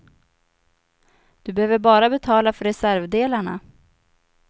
Du behöver bara betala för reservdelarna.